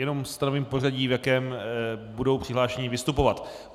Jenom stanovím pořadí, v jakém budou přihlášení vystupovat.